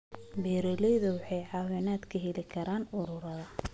Beeraleydu waxay caawinaad ka heli karaan ururada.